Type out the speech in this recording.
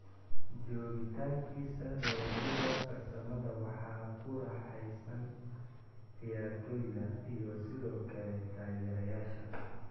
Joogitaankiisa darajada farsamada waxaa ku raaxaysan ciyaartoyda iyo sidoo kale taageerayaasha.